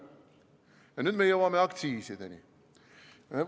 Nüüd me jõuame aktsiisideni.